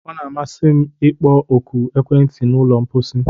Ọ na-amasị m ịkpọ oku ekwentị na ụlọ mposi